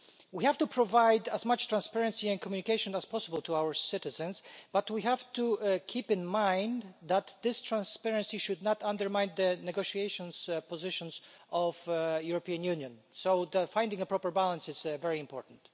We have to provide as much transparency and communication as possible to our citizens, but we have to keep in mind that this transparency should not undermine the negotiating positions of the European Union, so finding a proper balance is very important.